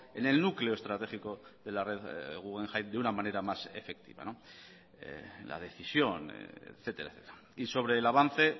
en el núcleo estratégico de la red guggenheim de una manera más efectiva la decisión etcétera y sobre el avance